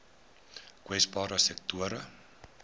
kwesbare sektore